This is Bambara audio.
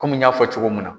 Kɔmi n y'a fɔ cogo min na